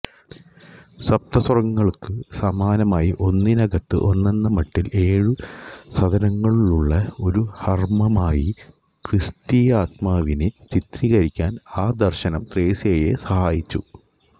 സപ്തസ്വർഗ്ഗങ്ങൾക്കു സമാനമായി ഒന്നിനകത്ത് ഒന്നെന്ന മട്ടിൽ ഏഴു സദനങ്ങളുള്ള ഒരു ഹർമ്മ്യമായി ക്രിസ്തീയാത്മാവിനെ ചിത്രീകരിക്കാൻ ആ ദർശനം ത്രേസ്യായെ സഹായിച്ചു